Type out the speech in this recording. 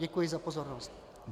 Děkuji za pozornost.